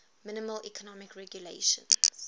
minimal economic regulations